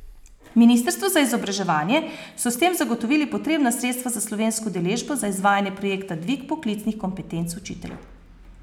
Ministrstvu za izobraževanje so s tem zagotovili potrebna sredstva za slovensko udeležbo za izvajanje projekta Dvig poklicnih kompetenc učiteljev.